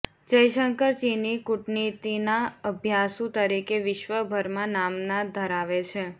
જયશંકર ચીની કૂટનીતિના અભ્યાસુ તરીકે વિશ્વભરમાં નામના ધરાવે છે